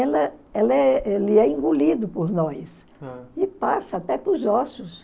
Ela é ele é ele é engolido por nós e passa até para os ossos.